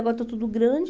Agora está tudo grande.